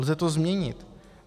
Lze to změnit.